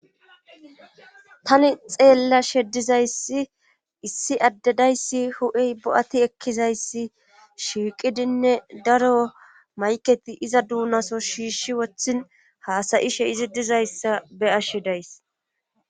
tani xeellashe dizayssi issi addedayssi hu7iy bo7ati ekkizayssi shiiqidinne daro mayketi iza duunaso shiishi wothin haasayishe izi dizayssa be ashshi days